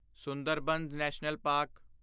Sundarban national park